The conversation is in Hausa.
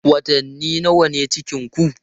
Watanni nawa ne cikinku?